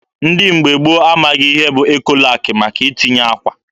Ndị mgbe gboo amaghị ihe bụ Ekolak maka itinye akwa.